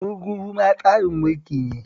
Gurguzu ma tsarin mulki ne